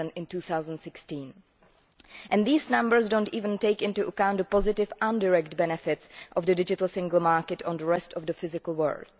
in 2016. These numbers do not even take into account the positive indirect benefits of the digital single market on the rest of the physical world.